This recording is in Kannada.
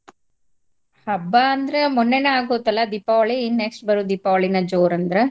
ಹಬ್ಬ ಅಂದ್ರೆ ಮೋನ್ನೆನ ಆಗ್ ಹೋತಲ್ಲ ದೀಪಾವಳಿ ಇನ್ next ಬರೋ ದೀಪಾವಳಿನ ಜೋರ್ ಅಂದ್ರ.